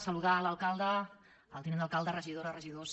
saludar l’alcalde el tinent d’alcalde regidores regidors